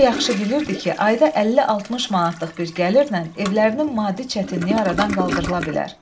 O yaxşı bilirdi ki, ayda 50-60 manatlıq bir gəlirlə evlərinin maddi çətinliyi aradan qaldırıla bilər.